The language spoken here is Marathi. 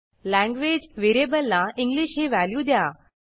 लँग्वेज व्हेरिएबलला इंग्लिश ही व्हॅल्यू द्या